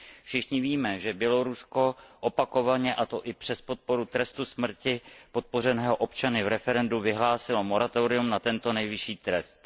Všichni víme, že Bělorusko opakovaně, a to i přes podporu trestu smrti ze strany občanů v referendu, vyhlásilo moratorium na tento nejvyšší trest.